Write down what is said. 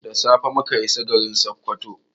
Da safe muka isa garin Sokoto.